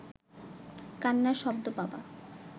কান্নার শব্দ পাবা